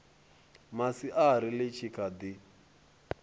masiari ḽi tshi kha ḓi